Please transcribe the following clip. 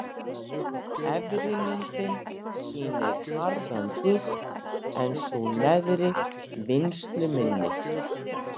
Efri myndin sýnir harðan disk en sú neðri vinnsluminni.